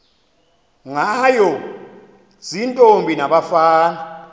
ngayo ziintombi nabafana